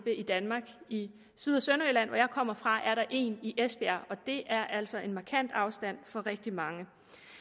i danmark i syd og sønderjylland hvor jeg kommer fra er der en i esbjerg og det er altså en markant afstand for rigtig mange